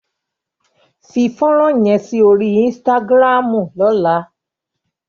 Fi fónrán yẹn sí orí Instagram lọ́la!